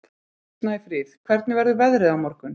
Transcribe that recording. Snæfríð, hvernig verður veðrið á morgun?